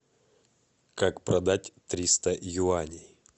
как продать триста юаней